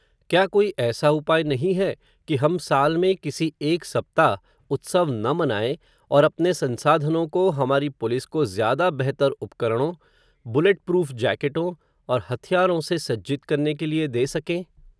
क्या कोई ऐसा उपाय नहीं है, कि हम साल में किसी एक सप्ताह, उत्सव न मनाएं, और अपने संसाधनों को, हमारी पुलिस को, ज़्यादा बेहतर उपकरणों, बुलेट प्रूफ़ जैकेटों, और हथियारों से सज्जित करने के लिए, दें सकें